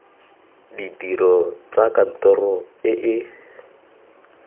ditiro tsa kantoro e e